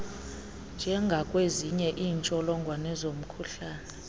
njengakwezinye iintsholongwane zomkhuhlane